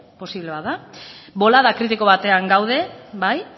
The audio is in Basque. posible bada bolada kritiko batean gaude bai